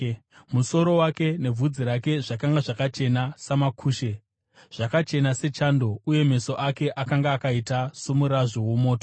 Musoro wake nebvudzi rake zvakanga zvakachena samakushe, zvakachena sechando, uye meso ake akanga akaita somurazvo womoto.